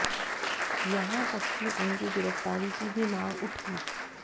यहां तक कि उनकी गिरफ्तारी की भी मांग उठी